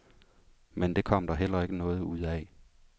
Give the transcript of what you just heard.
Men det kom der heller ikke noget ud af.